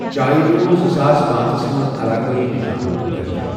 چایہِ مِیوُل زٕساس پانژَس منٛز علاقٲٮٔی نِشانُک دَرجہٕ۔